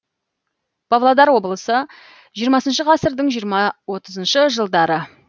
павлодар облысы жиырмасыншы ғасырдың жиырма отызыншы жылдары